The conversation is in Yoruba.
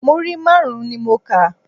Múrí márùn-ún ni mo kà.